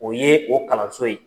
O ye o kalanso ye.